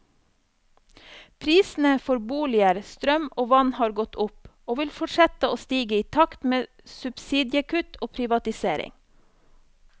Prisene for boliger, strøm og vann har gått opp, og vil fortsette å stige i takt med subsidiekutt og privatisering.